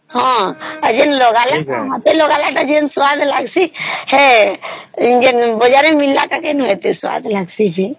ଏଠି ମିଳିଲା ତା ଯେମିତି ସ୍ୱାଦ ଲାଗିଛି ବଜାରେ ମିଳିଲା ତା ସେମିତି ସ୍ୱାଦ ଲାଗିଁସି କି